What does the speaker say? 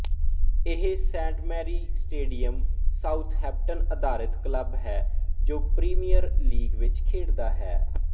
ਇਹ Saint Mary stadium Southampton ਅਧਾਰਤ club ਹੈ ਜੋ ਪ੍ਰੀਮੀਅਰ ਲੀਗ ਵਿੱਚ ਖੇਡਦਾ ਹੈ